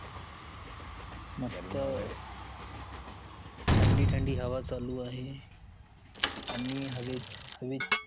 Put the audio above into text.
मस्त ठंडी ठंडी हवा चालू आहे आणि हवेत हवेत